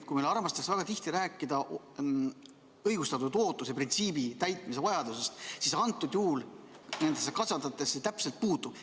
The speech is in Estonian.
Väga tihti armastatakse rääkida õigustatud ootuse printsiibi arvestamise vajadusest, aga antud juhul nende kasvatajate puhul jääb see puudu.